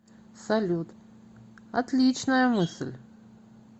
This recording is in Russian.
салют отличная мысль